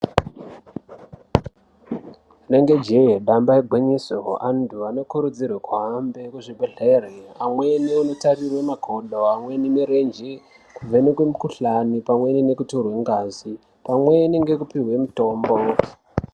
Rinenge jee damba igwinyiso antu anokurudzirwa kuhambe Kuzvibhedhlera amweni Anotarira makodo amweni mirenje kubva mumukuhlani kutorwa ngazi pamweni nekupihwa mutombo.